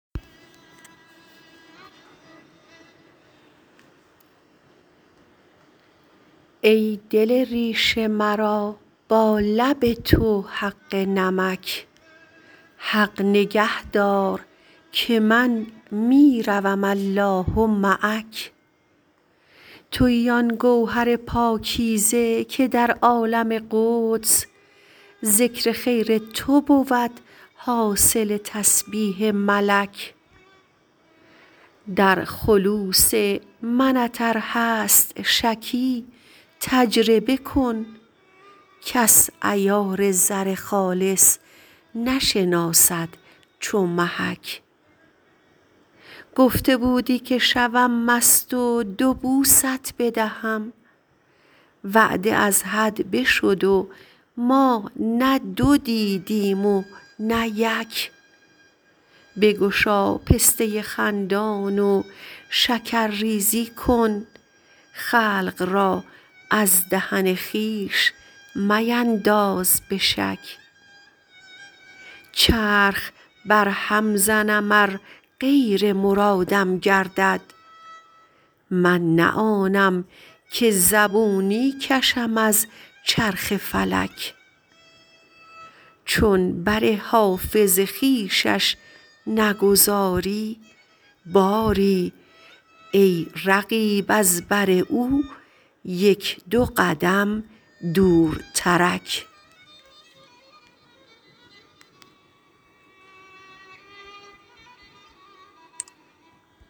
ای دل ریش مرا با لب تو حق نمک حق نگه دار که من می روم الله معک تویی آن گوهر پاکیزه که در عالم قدس ذکر خیر تو بود حاصل تسبیح ملک در خلوص منت ار هست شکی تجربه کن کس عیار زر خالص نشناسد چو محک گفته بودی که شوم مست و دو بوست بدهم وعده از حد بشد و ما نه دو دیدیم و نه یک بگشا پسته خندان و شکرریزی کن خلق را از دهن خویش مینداز به شک چرخ برهم زنم ار غیر مرادم گردد من نه آنم که زبونی کشم از چرخ فلک چون بر حافظ خویشش نگذاری باری ای رقیب از بر او یک دو قدم دورترک